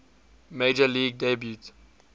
major league debut